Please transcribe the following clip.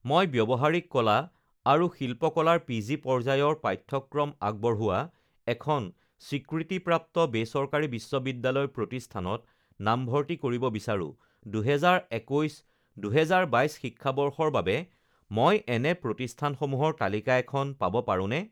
মই ব্যৱহাৰিক কলা আৰু শিল্পকলাদৰ পি জি পৰ্যায়ৰ পাঠ্যক্ৰম আগবঢ়োৱা এখন স্বীকৃতিপ্ৰাপ্ত বেচৰকাৰী বিশ্ববিদ্যালয় প্ৰতিষ্ঠানত নামভৰ্তি কৰিব বিচাৰোঁ, দুহেজাৰ একৈছ দুহেজাৰ বাইছ শিক্ষাবৰ্ষৰ বাবে মই এনে প্ৰতিষ্ঠানসমূহৰ তালিকা এখন পাব পাৰোঁনে?